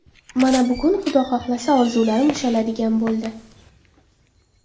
Mana bugun Xudo xohlasa, orzularim ushaladigan bo‘ldi.